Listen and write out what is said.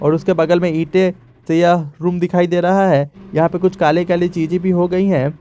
और उसके बगल में ईटे से यह रूम दिखाई दे रहा है यहां पे कुछ काले काली चीजें भी हो गई हैं।